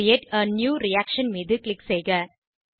create a new reaction மீது click செய்க